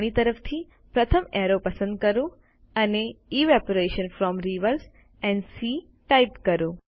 જમણી તરફથી પ્રથમ એરો પસંદ કરો અને evaporation from rivers and seas type કરો